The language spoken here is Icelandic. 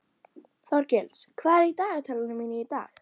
Þorgils, hvað er í dagatalinu mínu í dag?